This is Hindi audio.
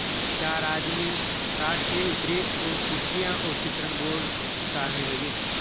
चार आदमी कार से उतरे और कुर्सियाँ और चित्रण बोर्ड उतारने लगे